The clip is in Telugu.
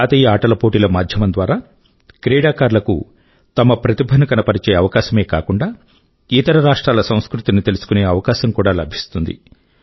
జాతీయ ఆటల పోటీల మాధ్యమం ద్వారా క్రీడాకారుల కు తమ ప్రతిభను కనబరిచే అవకాశమే కాకుండా ఇతర రాష్ట్రాల సంస్కృతి ని తెలుసుకునే అవకాశం కూడా లభిస్తుంది